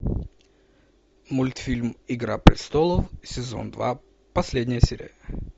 мультфильм игра престолов сезон два последняя серия